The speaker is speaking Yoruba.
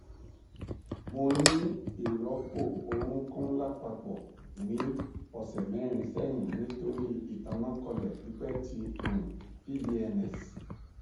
mo ni iropo orunkun lapapọ ni ọsẹ merin sẹhin nitori itanakọọlẹ pipẹ ti um pvns